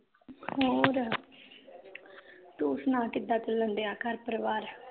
ਹੋਰ ਤੂੰ ਸੁਣਾ ਕਿਦਾਂ ਚਲਣ ਦਿਆਂ ਘਰ ਪਰਵਾਰ